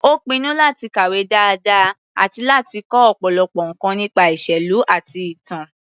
Ó pinnu láti kàwé dáadáa àti láti kọ́ ọ̀pọ̀lọpọ̀ nǹkan nípa ìṣèlú àti ìtàn.